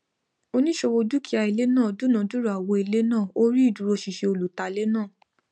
oníṣòwò dúkìá ilé náà dúnadúrà owó ilé náà ó rí ìdúróṣinṣin olùtalé náà